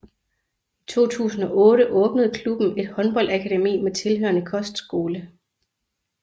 I 2008 åbnede klubben et håndboldakademi med tilhørende kostskole